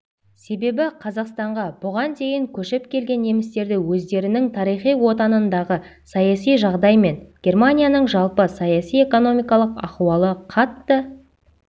себебі қазақстанға бұған дейін көшіп келген немістерді өздерінің тарихи отанындағы саяси жағдай мен германияның жалпы саяси-экономикалық ахуалы қатты